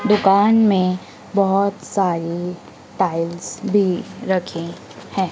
दुकान में बहोत सारी टाइल्स भी रखें है।